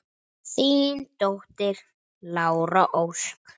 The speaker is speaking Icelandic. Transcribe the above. Þín dóttir, Lára Ósk.